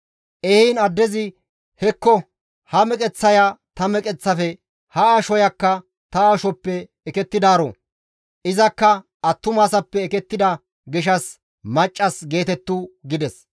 Ehiin addezi, «Hekko! Ha meqeththaya ta meqeththafe, ha ashoyakka ta ashoppe ekettidaaro; izakka attumasappe ekettida gishshas, maccas geetettu» gides.